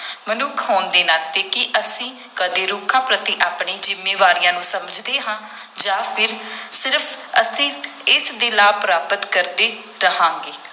ਮਨੁੱਖ ਹੋਣ ਦੇ ਨਾਤੇ, ਕੀ ਅਸੀਂ ਕਦੇ ਰੁੱਖਾਂ ਪ੍ਰਤੀ ਆਪਣੀ ਜ਼ਿੰਮੇਵਾਰੀਆਂ ਨੂੰ ਸਮਝਦੇ ਹਾਂ ਜਾਂ ਫਿਰ ਸਿਰਫ ਅਸੀਂ ਇਸ ਦੇ ਲਾਭ ਪ੍ਰਾਪਤ ਕਰਦੇ ਰਹਾਂਗੇ।